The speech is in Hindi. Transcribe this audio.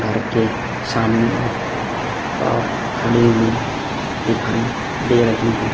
घर के सामने एक कार खड़ी हुई दिखाई दे रही है।